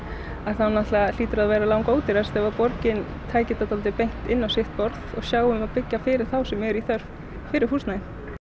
þá hlýtur það að vera langódýrast ef borgin tæki þetta beint inn á sitt borð og byggi fyrir þá sem eru í þörf fyrir húsnæði